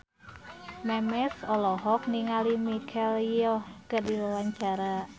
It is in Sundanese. Memes olohok ningali Michelle Yeoh keur diwawancara